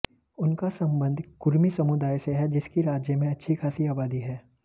उनका संबंध कुर्मी समुदाय से है जिसकी राज्य में अच्छी खासी आबादी है